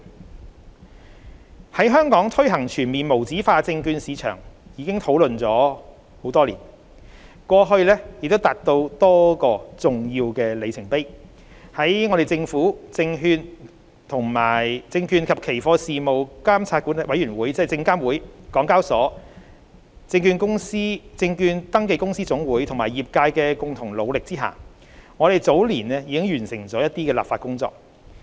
對於在香港推行全面無紙化證券市場，我們已討論多年，過去亦已達到多個重要的里程碑。在政府、證券及期貨事務監察委員會、港交所、證券登記公司總會有限公司和業界的共同努力下，我們早年已完成了一些立法工作。